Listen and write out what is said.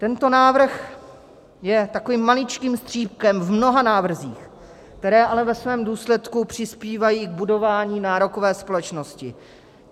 Tento návrh je takovým maličkým střípkem v mnoha návrzích, které ale ve svém důsledku přispívají k budování nárokové společnosti.